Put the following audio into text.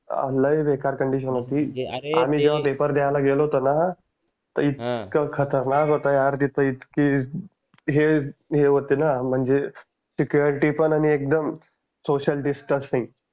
लई बेकार कंडिशन होती आम्ही ज्यावेळेला पेपर द्यायला गेलो होतो ना तर इतकं खतरनाक होतं यार तिथं इतकी हे हे होते ना म्हणजे security पण आणि एकदम सोसीयल डिस्टन्स सिंग